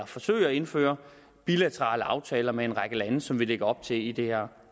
forsøge at indføre bilaterale aftaler med en række lande sådan som vi lægger op til i det her